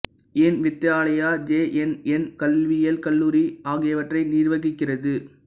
என் Vidyalaya J N N கல்வியியல் கல்லூரி ஆகியவற்றை நிர்வகிக்கிறது